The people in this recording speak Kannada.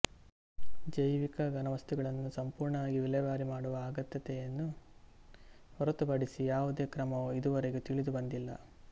ಜೈವಿಕಘನವಸ್ತುಗಳನ್ನು ಸಂಪೂರ್ಣವಾಗಿ ವಿಲೇವಾರಿ ಮಾಡುವ ಅಗತ್ಯತೆಯನ್ನು ಹೊರತುಪಡಿಸುವ ಯಾವುದೇ ಕ್ರಮವೂ ಇದುವರೆಗೆ ತಿಳಿದುಬಂದಿಲ್ಲ